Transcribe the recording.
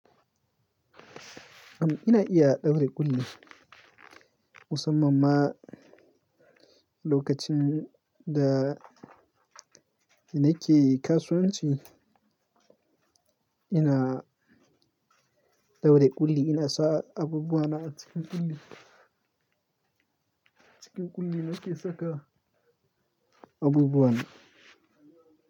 Am, ina iya ɗaure ƙulli. Musamman ma lokacin da nake kasuwanci, ina ɗaure ƙulli, ina sa abubuwana a cikin ƙulli. Cikin ƙulli nake saka abubuwana.